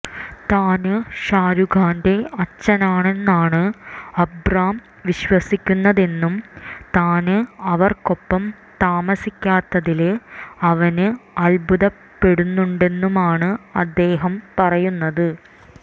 താന് ഷാരുഖ് ഖാന്റെ അച്ഛനാണെന്നാണ് അബ്റാം വിശ്വസിക്കുന്നതെന്നും താന് അവര്ക്കൊപ്പം താമസിക്കാത്തതില് അവന് അത്ഭുതപ്പെടുന്നുണ്ടെന്നുമാണ് അദ്ദേഹം പറയുന്നത്